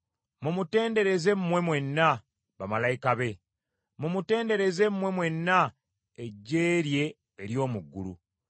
Mumutendereze mmwe mwenna bamalayika be, mumutendereze mmwe mwenna eggye lye ery’omu ggulu.